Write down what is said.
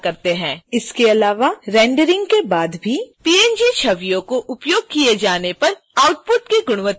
इसके अलावा रेंडरिंग के बाद भी png छवियों का उपयोग किए जाने पर आउटपुट की गुणवत्ता बेहतर होती है